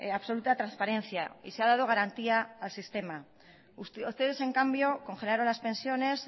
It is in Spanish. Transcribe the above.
absoluta transparencia y se ha dado garantía al sistema ustedes en cambio congelaron las pensiones